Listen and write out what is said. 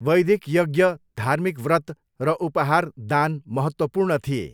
वैदिक यज्ञ, धार्मिक व्रत र उपहार दान महत्त्वपूर्ण थिए।